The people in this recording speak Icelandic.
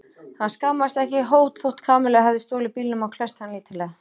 Hann skammaðist ekki hót þótt Kamilla hefði stolið bílnum og klesst hann lítillega.